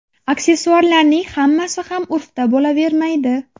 Aksessuarlarning hammasi ham urfda bo‘lavermaydi.